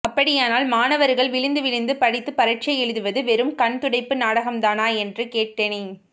அப்படியானல் மாணவர்கள் விழுந்துவிழுந்து படித்துப் பரிட்சை எழுதுவது வெறும் கண்துடைப்பு நாடகம் தானா என்று கேட்டேன்